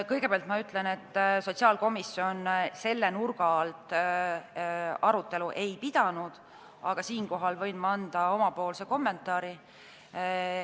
Kõigepealt ma ütlen, et sotsiaalkomisjon selle nurga alt arutelu ei pidanud, aga ma võin anda oma kommentaari.